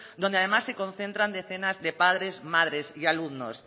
donde además se concentran decenas de padres madres y alumnos